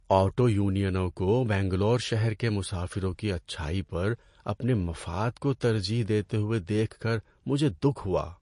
Auto یونینوں کو بنگلور شہر کے مسافروں کی اچھائی پر اپنے مفاد کو ترجیح دیتے ہوئے دیکھ کر مجھے دُکھ ہوا۔